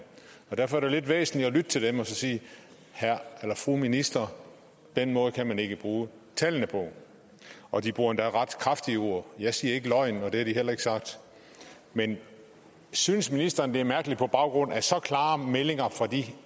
og derfor er det jo lidt væsentligt at lytte til dem og sige fru minister den måde kan man ikke bruge tallene på og de bruger endda ret kraftige ord jeg sige løgn og det har de heller ikke sagt men synes ministeren det er mærkeligt på baggrund af så klare meldinger fra de